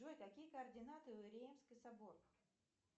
джой какие координаты у реймский собор